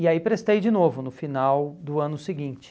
E aí prestei de novo no final do ano seguinte.